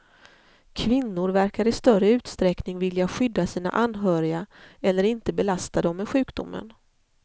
Kvinnor verkar i större utsträckning vilja skydda sina anhöriga, eller inte belasta dem med sjukdomen.